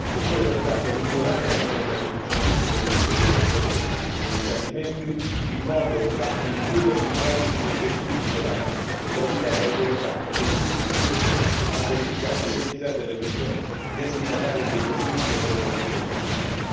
Occorre pertanto migliorare le modalità di funzionamento dei registri delle imprese negli Stati membri, in modo da includervi i dati sugli effettivi titolari, e aiutare le autorità e le imprese stesse a verificare l'identità delle persone destinatarie dei profitti e delle operazioni commerciali.